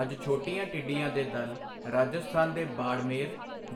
ਅੱਜ ਛੋਟੀਆਂ ਟਿੱਡੀਆਂ ਦੇ ਦਲ ਰਾਜਸਥਾਨ ਦੇ ਬਾੜਮੇਰ,